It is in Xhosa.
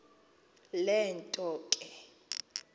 le nto ke